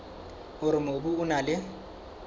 hore mobu o na le